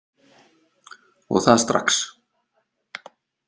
Og það strax!